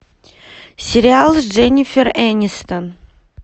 сериал с дженифер энистон